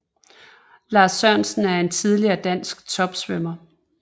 Lars Sørensen er en tidligere dansk topsvømmer